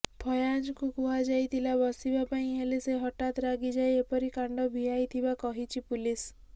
ଫୟାଜଙ୍କୁ କୁହାଯାଇଥିଲା ବସିବା ପାଇଁ ହେଲେ ସେ ହଠାତ ରାଗିଯାଇ ଏପରି କାଣ୍ଡ ଭିଆଇଥିବା କହିଛି ପୁଲିସ୍